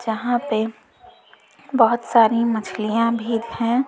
यहां पे बहुत सारी मछलियां भी हैं।